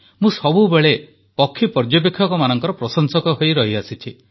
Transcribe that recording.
ମୁଁ ସବୁବେଳେ ପକ୍ଷୀ ପର୍ଯ୍ୟବେକ୍ଷକମାନଙ୍କ ପ୍ରଶଂସକ ହୋଇ ରହିଆସିଛି